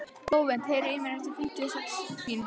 Flóvent, heyrðu í mér eftir fimmtíu og sex mínútur.